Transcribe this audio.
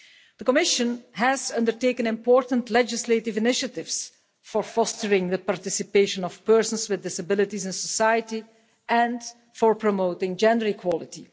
The Commission has undertaken important legislative initiatives for fostering the participation of persons with disabilities in society and for promoting gender equality.